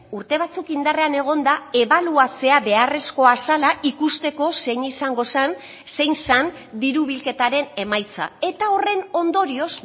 urte batzuk indarrean egonda ebaluatzea beharrezkoa zela ikusteko zein izango zen zein zen diru bilketaren emaitza eta horren ondorioz